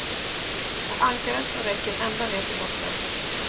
Och ankaret som räcker ända ned till botten.